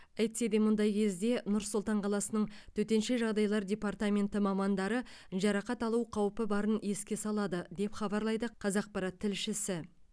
әйтсе де мұндай кезде нұр сұлтан қаласының төтенше жағдайлар департаменті мамандары жарақат алу қаупі барын еске салады деп хабарлайды қазақпарат тілшісі